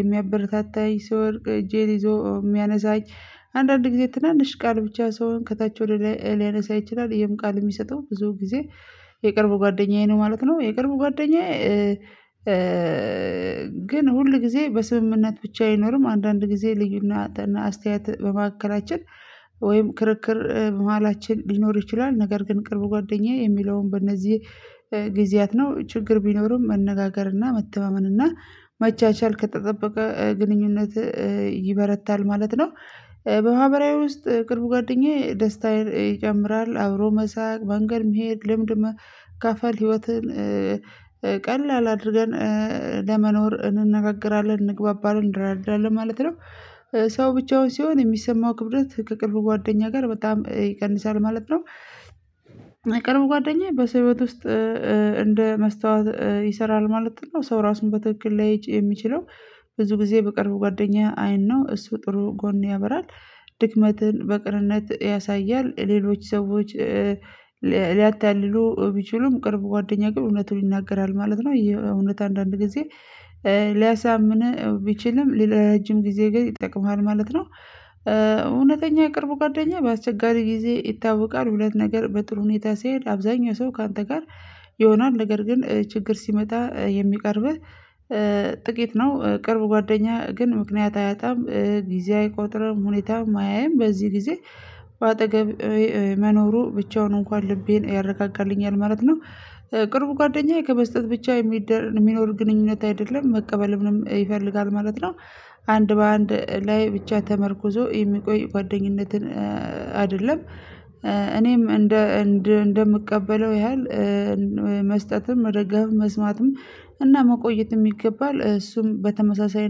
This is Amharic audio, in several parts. የሚያበረታታኝ ስወድቅ እጄን ይዞ ሚያነሳኝ አንዳንድ ጊዜ ትናንሽ ቃል ብቻ ሰውን ከታች ወደ ላይ ሊያነሳ ይችላል ይሄን ቃል ሚሰጠው ብዙ ጊዜ የቅርብ ጓደኛዬ ነው ማለት ነው የቅርብ ጓደኛዬ ግን ሁል ጊዜ በስምምነት ብቻ አይኖርም አንዳንድ ጊዜ ልዩና አስተያየት በመካከላችን ወይም ክርክር በመሃላችን ሊኖር ይችላል ነገር ግን ቅርብ ጓደኛዬ የሚለውን በእነዚህ ጊዜያት ነው ችግር ቢኖርም መነጋገርና መተማመንና መቻቻል ከተጠበቀ ግንኙነት ይበረታል ማለት ነው በማህበራዊ ውስጥ ቅርብ ጓደኛዬ ደስታን ይጨምራል አብሮ መሳቅ መንገድ መሄድ ልምድ መካፈል ህይወትን ቀላል አድርገን ለመኖር እንነጋገራለን እንግባባለን እንረዳዳለን ማለት ነው ሰው ብቻውን ሲሆን የሚሰማው ክብደት ከቅርብ ጓደኛ ጋር በጣም ይቀንሳል ማለት ነው ቅርብ ጓደኛ በሰው ህይወት ውስጥ እንደ መስታወት ይሰራል ማለትም ነው ሰው ራሱን በትክክል ሊያይ የሚችለው ብዙ ጊዜ በቅርቡ ጓደኛ አይን ነው እሱ ጥሩ ጎን ያበራል ድክመትን በቅንነት ያሳያል ሌሎች ሰዎች ሊያታልሉ ቢችሉም ቅርብ ጓደኛ ግን እውነቱን ይናገራል ማለት ነው እውነት አንዳንድ ጊዜ ሊያሳምህ ቢችልም ለረጅም ጊዜ ግን ይጠቅምሃል ማለት ነው እውነተኛ የቅርብ ጓደኛ በአስቸጋሪ ጊዜ ይታወቃል ሁለት ነገር በጥሩ ሁኔታ ሲሄድ አብዛኛው ሰው ካንተ ጋር ይሆናል ነገር ግን ችግር ሲመጣ የሚቀርብህ ጥቂት ነው ቅርብ ጓደኛ ግን ምክንያት አያጣም ጊዜ አይቆጥርም ሁኔታም አያይም በዚህ ጊዜ በአጠገብህ መኖሩ ብቻውን እንኳን ልቤን ያረጋጋልኛል ማለት ነው ቅርብ ጓደኛዬ ከመስጠት ብቻ የሚኖር ግንኙነት አይደለም መቀበልንም ይፈልጋል ማለት ነው አንድ በአንድ ላይ ብቻ ተመርኩዞ የሚቆይ ጓደኝነትን አይደለም እኔም እንደ እንደ እንደምቀበለው ያህል መስጠትም መደገፍም መስማትም እና መቆየትም ይገባል እሱም በተመሳሳይ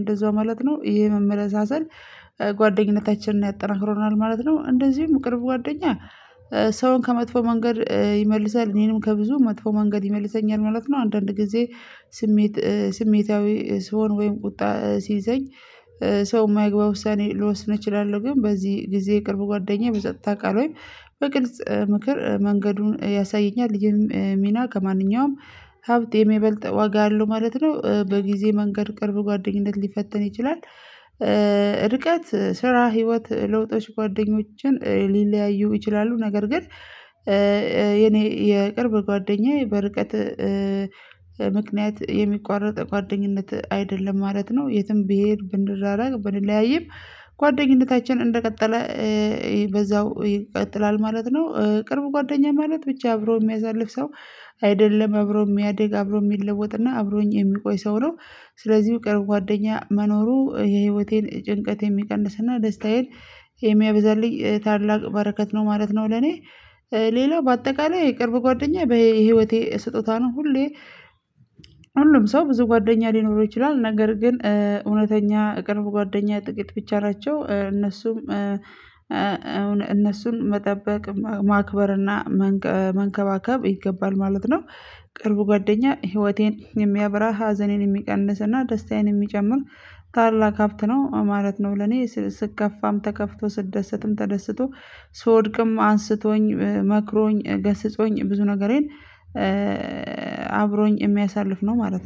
እንደዛው ማለት ነው ይሄ መመለሳሰል ጓደኝነታችንን ያጠናክረናል ማለት ነው። እንደዚሁም ቅርብ ጓደኛ ሰውን ከመጥፎ መንገድ ይመልሳል እኔንም ከብዙ መጥፎ መንገድ ይመልሰኛል ማለት ነው። አንዳንድ ጊዜ ስሜት ስሜታዊ ስሆን ወይም ቁጣ ሲይዘኝ ሰው ማይግባ ውሳኔ ልወስን እችላለሁ። ግን በዚህ ጊዜ ቅርብ ጓደኛዬ በፀጥታ ቃል ወይ በግልጽ ምክር መንገዱን ያሳየኛል ይህም ሚና ከማንኛውም ሀብት የሚበልጥ ዋጋ አለው ማለት ነው። በጊዜ መንገድ ቅርብ ጓደኝነት ሊፈተን ይችላል ርቀት ስራ ህይወት ለውጦች ጓደኞችን ሊለያዩ ይችላሉ ነገር ግን የኔ የቅርብ ጓደኛዬ በርቀት ምክንያት የሚቋረጥ ጓደኝነት አይደለም ማለት ነው። የትም ብሄድ ብንራራቅ ብንለያይም ጓደኝነታችን እንደቀጠለ በዛው ይቀጥላል ማለት ነው። ቅርብ ጓደኛ ማለት ብቻ አብሮ ሚያሳልፍ ሰው አይደለም። አብሮ ሚያድግ አብሮ ሚለወጥና አብሮኝ የሚቆይ ሰው ነው። ስለዚህ የቅርብ ጓደኛ መኖሩ የህይወቴን ጭንቀት የሚቀንስና ደስታዬን የሚያበዛልኝ ታላቅ በረከት ነው ማለት ነው ለኔ ሌላው በአጠቃላይ የቅርብ ጓደኛዬ በህይወቴ ስጦታ ነው። ሁሌ ሁሉም ሰው ብዙ ጓደኛ ሊኖረው ይችላል ነገር ግን እውነተኛ የቅርብ ጓደኛ ጥቂት ብቻ ናቸው። እነሱም እነሱን መጠበቅ ማክበርና መንከባከብ ይገባል ማለት ነው። ቅርቡ ጓደኛ ህይወቴን የሚያበራ ሀዘኔን የሚቀንስና ደስታዬን የሚጨምር ታላቅ ሃብት ነው ማለት ነው ለኔ ስከፋም ተከፍቶ ስደሰትም ተደስቶ ስወድቅም አንስቶኝ መክሮኝ ገስጾኝ ብዙ ነገሬን አብሮኝ የሚያሳልፍ ነው ማለት ነው